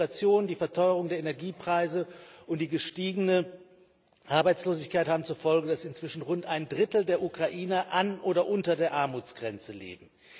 Die hohe Inflation, die Verteuerung der Energiepreise und die gestiegene Arbeitslosigkeit haben zur Folge, dass inzwischen rund ein Drittel der Ukrainer an oder unter der Armutsgrenze leben.